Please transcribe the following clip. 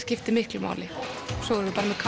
skipti miklu máli svo